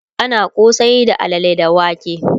ana kosai da alalle da wake